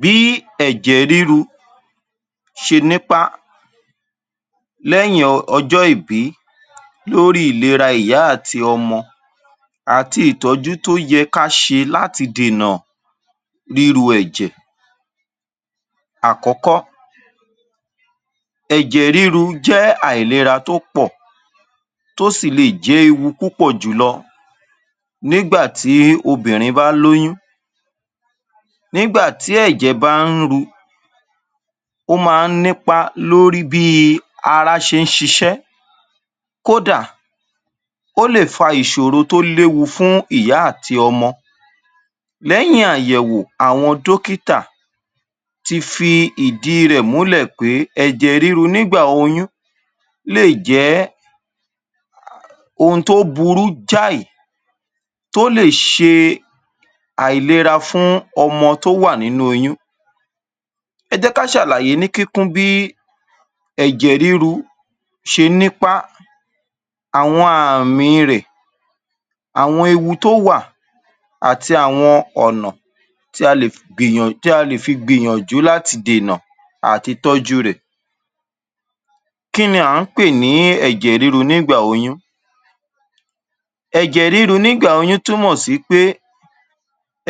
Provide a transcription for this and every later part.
Bí ẹ̀jẹ̀ ríru ṣe nípá lẹ́yìn ọjọ́ ìbí lórí ìlera ìyá àti ọmọ àti ìtọ́jú tó yẹ ká ṣe láti dènà ríru ẹ̀jẹ̀. Àkọ́kọ́, ẹ̀jẹ̀ ríru jẹ́ ìlera tó pọ̀ tó sì le è jẹ́ ewu tó pọ̀ jùlọ nígbà tí obìnrin bá lóyún nígbà tí ẹ̀jẹ̀ bá ń ru ó ma ń nípá lórí bí ara ṣe ń ṣiṣẹ́ kódà ó lè fa ìṣòro tí ó léwu fún ìyá àti ọmọ. Lẹ́yìn àyẹ̀wò àwọn dọ́kítà ti fi ìdí i rẹ̀ múlẹ̀ pé èjẹ̀ ríru nígbà oyún jé ohun tó burú jáì tó lè ṣe àìlera fún ọmọ tó wà nínú oyún. Ẹ jẹ́ ká ṣàlàyé ní kíkún bí ẹ̀jẹ̀ ríru ṣe nípá àwọn àmì i rẹ̀, àwọn ewu tó wà àti àwọn ọ̀nà tí a lè fi gbìyànjú àti dènà àti tọ́jú u rẹ̀. Kí ni à ń pè ní ẹ̀jẹ̀ ríru nígbà oyún? Ẹ̀jẹ̀ ríru nígbà oyún túmọ̀ sí pé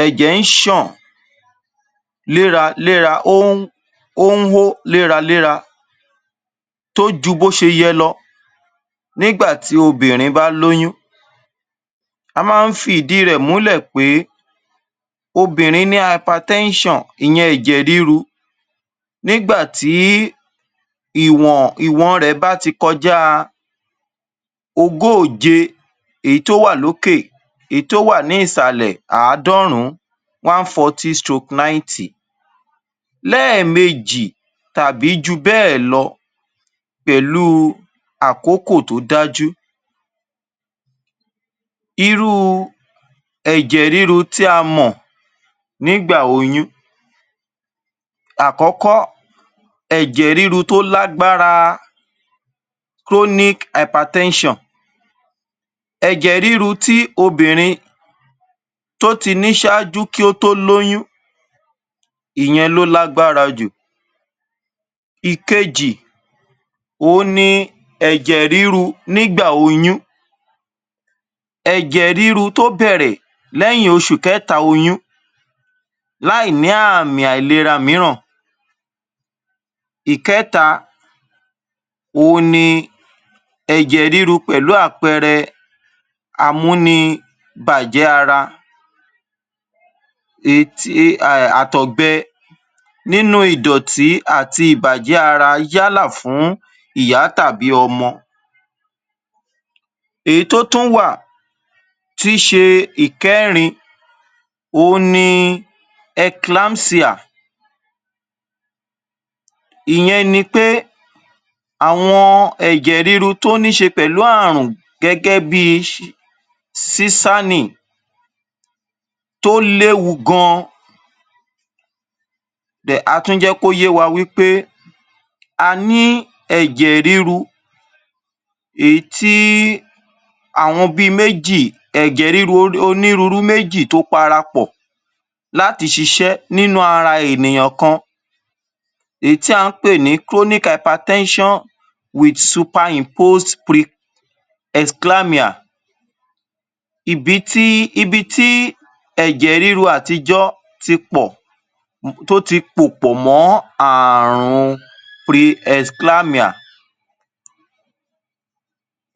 ẹ̀jẹ̀ ń ṣàn léraléra ó ń hó léraléra tó ju bó ṣe yẹ lọ nígbà tí obìnrin bá lóyún. A máa ń fi ìdí i rẹ̀ múlè pé obìnrin ní hypertension ìyẹn ẹ̀jẹ̀ ríru nígbà tí ìwọn rẹ̀ bá ti kọjá a ogóòje èyí tó wà lókè èyí tó wà ní ìsàlẹ̀ àádọ́rùn-ún one-fourty stroke ninety lẹ́ẹ̀mejì tàbí ju bẹ́ẹ̀ lọ pẹ̀lú u àkókò tó dájú. Irú u ẹ̀jẹ̀ ríru tí a mọ̀ nígbà oyún: Àkọ́kọ́- ẹ̀jẹ̀ ríru tó lágbára chronic hypertension ẹ̀jẹ̀ ríru tí obìnrin tó ti ní ṣáájú kí ó tó lóyún ìyẹn ló lágbára jù. Ìkejì- òhun ni ẹ̀jẹ̀ ríru nígbà oyún, ẹ̀jẹ̀ ríru tó bẹ̀rẹ̀ lẹ́yìn oṣù kẹ́ta oyún láì ní àmì àìlera mìíràn. Ìkẹ́ta- òhun ni ẹ̀jẹ̀ ríru pẹ̀lú àpẹẹrẹ amúnibàjẹ́ ara, àtọ̀gbẹ nínú ìdọ̀tí àti ìbàjẹ́ ara yálà fún ìyá tàbí ọmọ. Èyí tó tún wà tí í ṣe ìkẹ́rin òhun ni enclampsia ìyẹn ni pé àwọn ẹ̀jẹ̀ ríru tó ní ṣe pẹ̀lú àrùn gẹ́gẹ́ bí i sísàní tó léwu gan then a tún jẹ́ kó yé wa wí pé a ní ẹ̀jẹ̀ ríru èyí tí àwọn bí i méjì ẹ̀jẹ̀ onírúurú méjì tó para pọ̀ láti ṣiṣẹ́ nínú ara ènìyàn kan èyí tí à ń pè ní chronic hypertension with superimposed preesclamia ibi tí ẹ̀jẹ̀ ríru àtijọ́ ti pọ̀ tó ti pò pọ̀ mọ́ ààrun preesclamia.